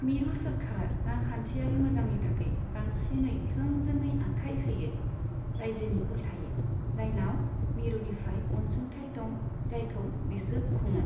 मिरु सोरखारा रांखान्थियारि मोजांनि थाखाय बांसिनै थोंजोङै आखाय होयो, रायजोनि उल्थायै, जायनाव मिरुनिफ्राय अनसुथाइ दं जायखौ बिसोर खुङो।